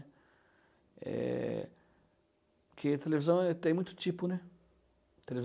Eh... Porque televisão eh tem muito tipo, né,